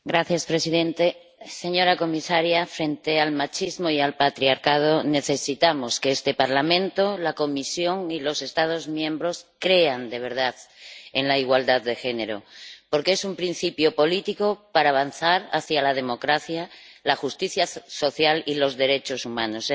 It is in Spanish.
Señor presidente, señora comisaria, frente al machismo y al patriarcado necesitamos que este Parlamento, la Comisión y los Estados miembros crean de verdad en la igualdad de género, porque es un principio político para avanzar hacia la democracia, la justicia social y los derechos humanos.